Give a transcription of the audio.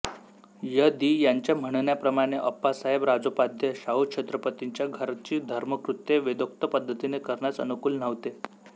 य दि यांच्या म्हणण्याप्रमाणे अप्पासाहेब राजोपाध्ये शाहू छत्रपतींच्या घरची धर्मकृत्ये वेदोक्त पद्धतीने करण्यास अनुकूल नव्हते